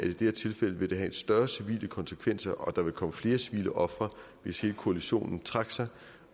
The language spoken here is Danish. det her tilfælde vil have større civile konsekvenser og at der vil komme flere civile ofre hvis hele koalitionen trak sig